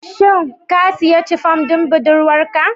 Shin ka sayi Chiffon don budurwarka